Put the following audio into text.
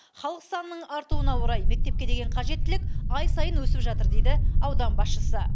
халық санының артуына орай мектепке деген қажеттілік ай сайын өсіп жатыр дейді аудан басшысы